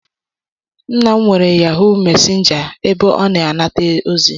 Nna m nwere yahuu mesịnja ebe ọ na-anata ozi.